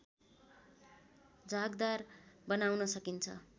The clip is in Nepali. झागदार बनाउन सकिन्छ